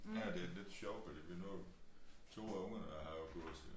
Nej det lidt sjovt fordi nu 2 af ungerne har jo gået til